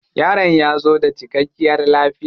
Yaron ya zo da cikkakiyar lafiya.